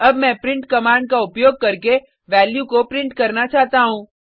अब मैं print command का उपयोग करके वैल्यू को प्रिंट करना चाहता हूँ